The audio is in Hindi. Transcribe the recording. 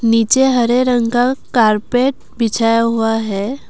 नीचे हरे रंग का कारपेट बिछाया हुआ है।